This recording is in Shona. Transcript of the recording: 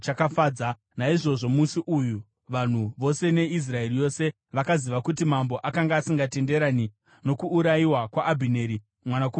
Naizvozvo musi uyu vanhu vose neIsraeri yose, vakaziva kuti mambo akanga asingatenderani nokuurayiwa kwaAbhineri mwanakomana waNeri.